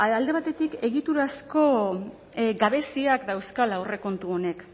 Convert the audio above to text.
alde batetik egiturazko gabeziak dauzkala aurrekontu honek